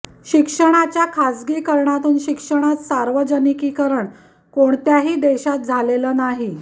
शिक्षणाच्या खाजगीकरणातून शिक्षणात सार्वजनिकीकरण कोणत्याही देशात झालेले नाही